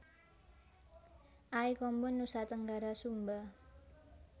Aikombo Nusa Tenggara Sumba